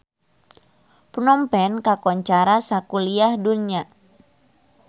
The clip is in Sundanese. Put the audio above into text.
Phnom Penh kakoncara sakuliah dunya